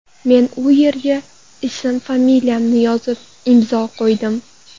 Men u yerga ism-familiyamni yozib, imzo qo‘ydim.